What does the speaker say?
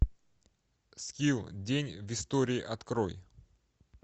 скилл день в истории открой